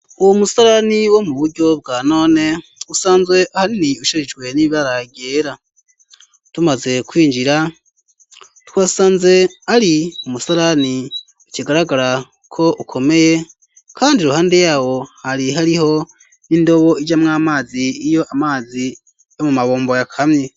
Uwo musalani wo mu buryo bwa none usanzwe hani ushijijwe n'ibibaragera tumaze kwinjira twasanze ari umusalani ukigaragara ko ukomeye, kandi ruhande yawo hari hariho n'indobo ijamwo amazi iyo amazi yo mu mabomborye akami.